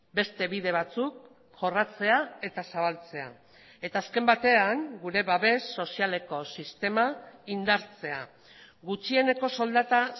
beste bide batzuk jorratzea eta zabaltzea eta azken batean gure babes sozialeko sistema indartzea gutxieneko soldata